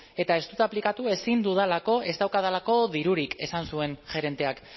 eta ez dut aplikatu ezin dudalako ez daukadalako dirurik esan zuen gerenteak